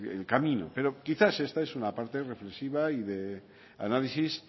el camino pero quizás esta es una parte reflexiva y de análisis